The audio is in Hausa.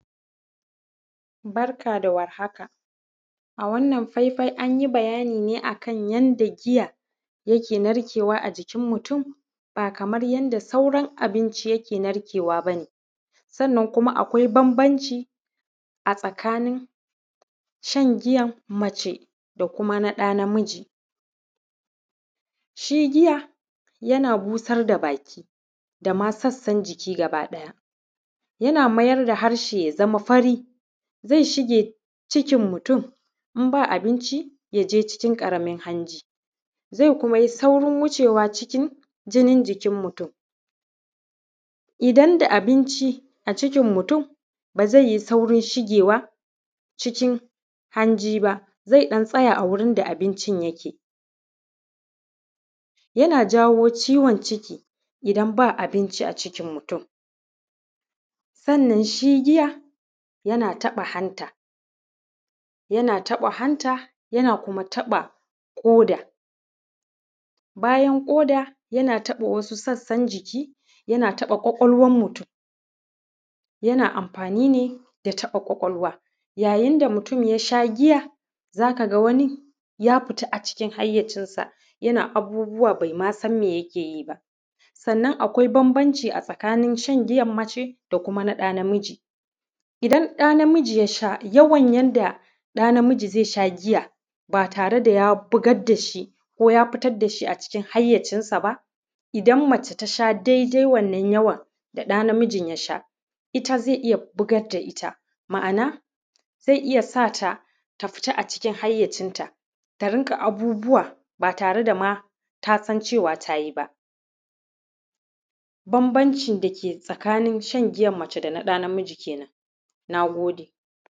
Barka da warhaka. A wannan faifai an yi bayani ne a kan yanda giya, yake narkewa a jikin mutum, ba kaman yanda sauran abinci yake narkewa ba ne. Sannan kuma akwai bambanci, a tsakanin shan giyan mace, da kuma na ɗa namiji. Shi giya, yana busar da baki, da ma sassan jiki gabaɗaya. Yana mayar da harshe ya zama fari. Zai shige cikin mutum, in ba abinci ya je cikin ƙaramin hanji. Zai kuma yi saurin wucewa cikin jinin jikin mutum. Idan da abinci a cikin mutum, ba zai yi saurin shigewa cikin hanji ba, zai ɗan tsaya a wuriin da abincin yake. Yana jawo ciwon ciki, idan ba abinci a cikin mutum. Sannan shi giya, yana taɓa hanta; yana taɓa hanta; yana kuma taɓa ƙoda. Bayan ƙoda, yana taɓa wasu sassan jiki. Yana taɓa ƙwaƙwalwar mutum; yana amfani ne da taɓa ƙwaƙwalwa. Yayin da mutum ya sha giya, za ka ga wani ya fita a cikin hayyacinsa, yana abubuwa bai ma san me yake yi ba. Sannan akwai bambanci a tsakanin shan giyan mace, da kuma na ɗa namiji. Idan ɗa namiji ya sha, yawan yanda ɗa namiji zai sha giya ba tare da ya bugar da shi, ko ya fitar da shi a cikin hayyacinsa ba, idan mace ta sha daidai wannan yawan, da ɗa namijin ya sha, ita zai iya bugar da ita. Ma'ana, zai iya sa ta, ta fita a cikin hayyacinta, ta rinƙa abubawa ba tare da ma ta san cewa ta yi ba. Banbancin da ke tsakanin shan giyan mace da na ɗa namiji ke nan. Na gode.